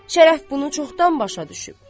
Şərəf bunu çoxdan başa düşüb.